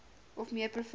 of meer provinsies